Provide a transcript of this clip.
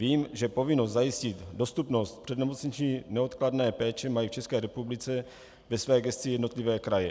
Vím, že povinnost zajistit dostupnost přednemocniční neodkladné péče mají v České republice ve své gesci jednotlivé kraje.